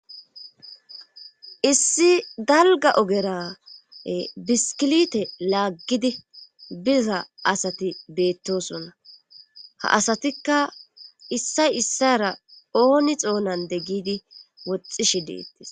8ssi dalgga ogera biskilite laaggidi biza asati beettosonna ha asatikka issay issara ooni xoonande gigidi woxishshi deettees